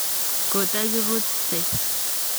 kotakirutei.